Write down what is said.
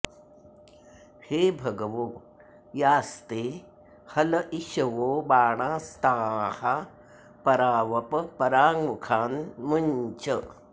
हे भगवो यास्ते हल इषवो बाणास्ताः परा वप पराङ्मुखान्मुञ्च